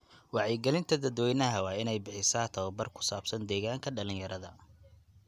Wacyigelinta dadweynaha waa inay bixisaa tababar ku saabsan deegaanka dhalinyarada.